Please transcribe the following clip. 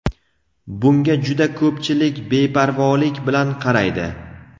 bunga juda ko‘pchilik beparvolik bilan qaraydi.